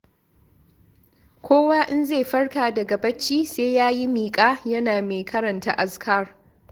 Kowa in zai farka daga bacci sai ya yi miƙa yana mai karanta azkar.